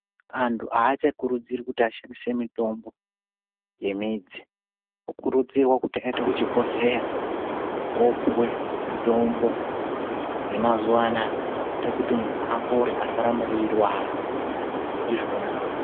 Antu achakurudzirwi ashandise mitombo yemidzi anokurudzirwa aende kuchibhedhlera opuwe mutombo wemazuva anawa inoita kuti muntu apore asaramba eirwara ndizvona.